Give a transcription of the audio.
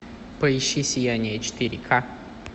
поищи сияние четыре ка